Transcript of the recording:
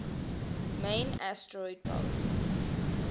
main asteroid belt